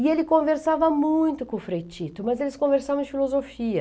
E ele conversava muito com o Frei Tito, mas eles conversavam de filosofia.